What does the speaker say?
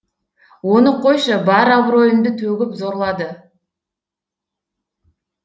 оны қойшы бар абыройымды төгіп зорлады